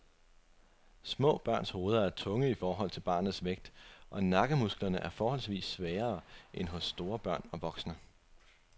Små børns hoveder er tunge i forhold til barnets vægt og nakkemusklerne er forholdsvis svagere end hos store børn og voksne.